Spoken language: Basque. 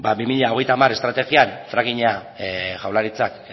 bi mila hogeita hamar estrategian frackinga jaurlaritzak